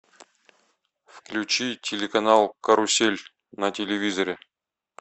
включи телеканал карусель на телевизоре